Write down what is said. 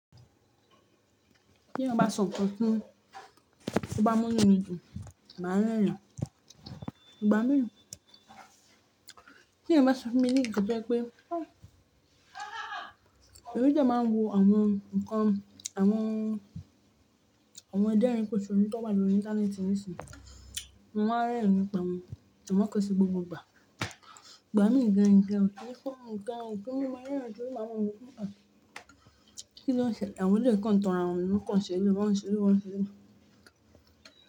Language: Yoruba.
Tí eeyan bá sọ nnkan fúnmi, to bá mú inú mi dùn, màá rẹ́rìn. Ìgbà mìíràn, tí eeyan bá se fún mi ní nnkan to je pé, èmi de máa ń wo àwọn nǹkan, àwọn, àwọn aderin po sonù, tán wa lọrí intanẹẹti nísìyín Mo máa rẹ́rin nipa wọ́n, àmọ́ kò n se gbogbo ìgbà. Ìgbà mìíràn gan, nǹkan o kí yẹ mí ó tori máa mọ wọ́ pe, ah Kí ló ń ṣẹlẹ̀? Àwọn eleyii kan tan ara wọn ló kàn ṣ'éleyii, wọ́n ń ṣ'éleyii, wọ́n ṣ'éleyii.